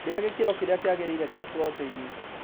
Rĩa gĩkĩro kĩrĩa kĩagĩrĩire gĩa proteini